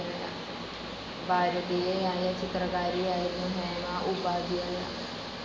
ഭാരതീയയായ ചിത്രകാരിയായിരുന്നു ഹേമ ഉപാധ്യായ.